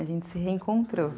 A gente se reencontrou.